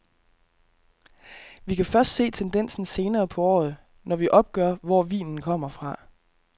Vi kan først se tendensen senere på året, når vi opgør, hvor vinen kommer fra.